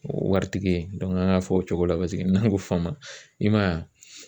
Waritigi ye an k'a fɔ o cogo la paseke n'an ko fama i ma ye a